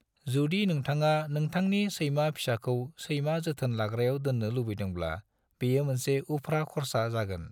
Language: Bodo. जुदि नोंथाङा नोंथांनि सैमा फिसाखौ सैमा जोथोन लाग्रायाव दोननो लुबैदोंब्ला बियो मोनसे उफ्रा खरसा जागोन।